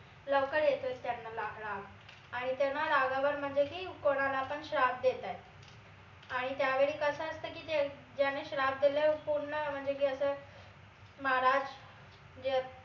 लवकर येतो त्यांना लाग राग आणि त्यांना रागावर म्हनजे की कोणाला पण श्राप देतायत आणि त्या वेळी कस असत की ते अं ज्याने श्राप देलाय पूर्ण म्हनजे की अस महाराज